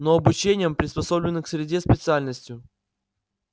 но обучением приспособлением к среде специальностью